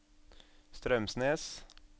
Straumsnes